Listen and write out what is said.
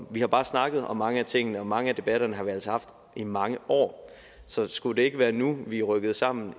har bare snakket om mange af tingene og mange af debatterne har vi altså haft i mange år så skulle det ikke være nu vi rykkede sammen